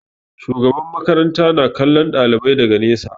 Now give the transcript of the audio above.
Shugaban makaranta na kallon ɗalibai daga nesa.